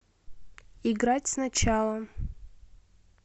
играть сначала